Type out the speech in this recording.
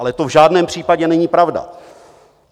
Ale to v žádném případě není pravda.